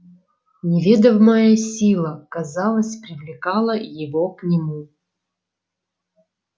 неведомая сила казалось привлекала его к нему